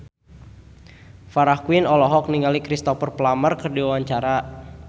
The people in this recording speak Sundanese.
Farah Quinn olohok ningali Cristhoper Plumer keur diwawancara